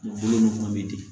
Bolo ninnu fana bɛ ten